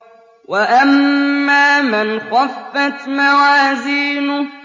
وَأَمَّا مَنْ خَفَّتْ مَوَازِينُهُ